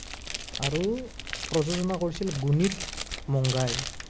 আৰু প্ৰযোজনা কৰিছিল গুণিত মংগাই।